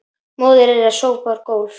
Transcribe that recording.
Móðir þeirra sópar gólf